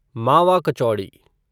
मावा कचौड़ी